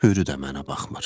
Hürü də mənə baxmır.